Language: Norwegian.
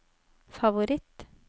favoritt